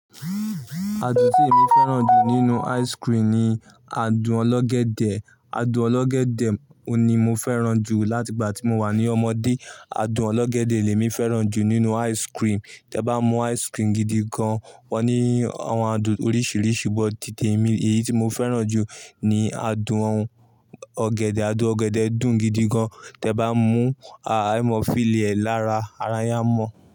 Adun tí èmi féràn jù nínú ice cream ni adun ọlọ́gẹ̀dẹ̀. Adun ọlọ́gẹ̀dẹ̀ òní mo féràn jù láti ìgbà tí mo wà ní ọmọdé. Adun ọlọ́gẹ̀dẹ̀ ni èmi féràn jù nínú ice cream. Tẹ bá mú ice cream gidi gan, wọ́n ní àwọn adun oríṣiríṣi, bót tìtẹ̀ mi, èyí tí mo féràn jù ni adun ọ̀gẹ̀dẹ̀. Adun ọ̀gẹ̀dẹ̀ dùn gidi gan, tẹ bá mú, aài ẹ mo feel li rẹ lára, ara yín ámòn.